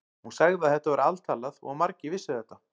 Hún sagði að þetta væri altalað og að margir vissu þetta.